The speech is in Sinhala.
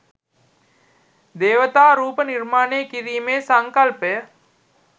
දේවතා රූප නිර්මාණය කිරීමේ සංකල්පය